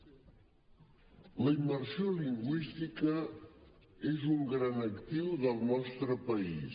la immersió lingüística és un gran actiu del nostre país